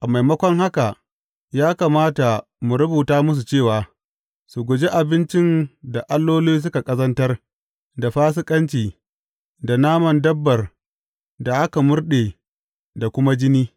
A maimakon haka, ya kamata mu rubuta musu cewa, su guji abincin da alloli suka ƙazantar, da fasikanci, da naman dabbar da aka murɗe da kuma jini.